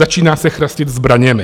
Začíná se chrastit zbraněmi.